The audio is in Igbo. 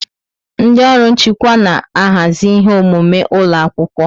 Ndị ọrụ nchịkwa na-ahazi ihe omume ụlọ akwụkwọ.